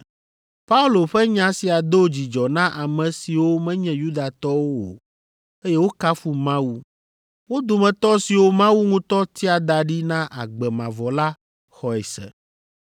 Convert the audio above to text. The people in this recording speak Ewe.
Paulo ƒe nya sia do dzidzɔ na ame siwo menye Yudatɔwo o, eye wokafu Mawu. Wo dometɔ siwo Mawu ŋutɔ tia da ɖi na agbe mavɔ la xɔe se.